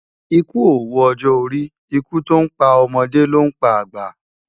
Ikú ówó òjò óri Ikú tó n pá òmòdé ló n pá ágbá